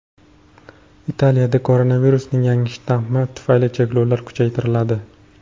Italiyada koronavirusning yangi shtammi tufayli cheklovlar kuchaytiriladi.